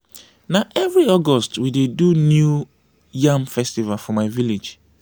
na every august we dey do new yam festival for my village.